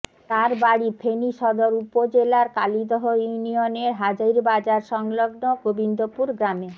তার বাড়ি ফেনী সদর উপজেলার কালিদহ ইউনিয়নের হাজীরবাজার সংলগ্ন গোবিন্দপুর গ্রামে